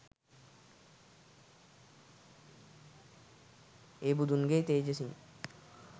ඒ බුදුන්ගේ තෙජසින්